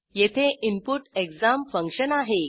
येथे input exam function आहे